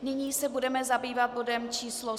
Nyní se budeme zabývat bodem číslo